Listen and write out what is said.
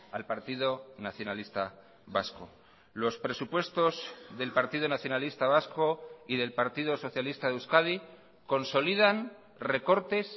al partido nacionalista vasco los presupuestos del partido nacionalista vasco y del partido socialista de euskadi consolidan recortes